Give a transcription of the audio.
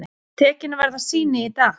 Tekin verða sýni í dag.